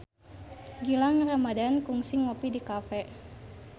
Gilang Ramadan kungsi ngopi di cafe